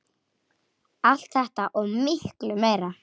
Allt þetta og miklu meira.